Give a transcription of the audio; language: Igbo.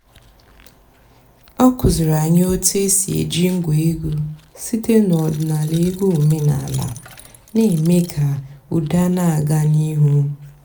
ọ́ kụ́zíìrí ànyị́ ótú é sì èjí ǹgwá ègwú sìté n'ọ̀dị́náàlà ègwú òménàlà nà-èmée kà ụ́dà nà-àgá n'íìhú.